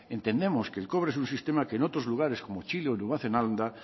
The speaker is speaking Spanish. entendemos que el cobre es un sistema que en otros lugares como chile o nueva zelanda